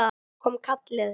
Svo kom kallið.